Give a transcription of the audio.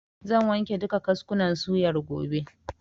Zan wanke duka kaskunan suyar gobe.